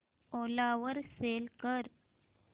ओला वर सेल कर